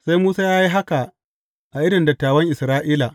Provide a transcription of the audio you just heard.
Sai Musa ya yi haka a idon dattawan Isra’ila.